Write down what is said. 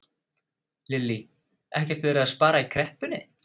Lillý: Ekkert verið að spara í kreppunni?